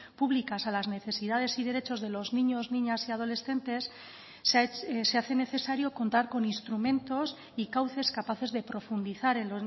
públicas a las necesidades y derechos de los niños niñas y adolescentes se hace necesario contar con instrumentos y cauces capaces de profundizar en